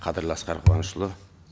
қадірлі асқар қуанышұлы